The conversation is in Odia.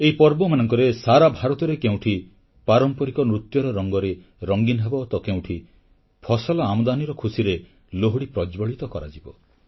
ଏହି ପର୍ବମାନଙ୍କରେ ସାରା ଭାରତରେ କେଉଁଠି ପାରମ୍ପରିକ ନୃତ୍ୟର ରଙ୍ଗରେ ରଙ୍ଗୀନ ହେବ ତ କେଉଁଠି ଫସଲ ଆମଦାନୀର ଖୁସିରେ ଲୋହଡ଼ୀ ପ୍ରଜ୍ଜ୍ୱଳିତ କରାଯିବ